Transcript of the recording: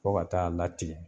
Fo ka taa latigɛ